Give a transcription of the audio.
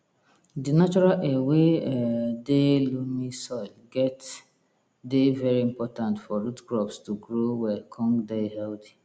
di natural air wey um dey loamy soil get dey very important for root crops to grow well con dey healthy